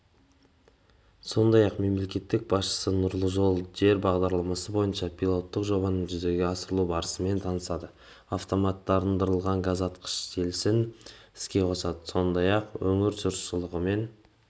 сондай-ақ мемлекет басшысы нұрлы жер бағдарламасы бойынша пилоттық жобаның жүзеге асырылу барысымен танысады автоматтандырылған газтаратқыш желісін іске қосады сондай-ақ өңір жұршылығымен